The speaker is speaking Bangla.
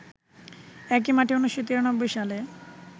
একই মাঠে ১৯৯৩ সালে